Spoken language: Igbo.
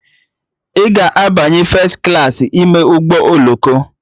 Ị ga-abanye fes klaasị ime ụgbọ oloko?